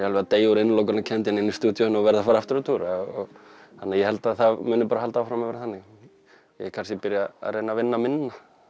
alveg að deyja úr innilokunarkennd hérna í stúdíóinu og verð að fara aftur að túra þannig ég held að það muni bara halda áfram að vera þannig ég kannski byrja að reyna að vinna minna